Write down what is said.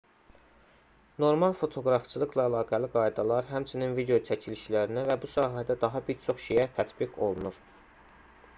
normal fotoqrafçılıqla əlaqəli qaydalar həmçinin video çəkilişlərinə və bu sahədə daha bir çox şeyə tətbiq olunur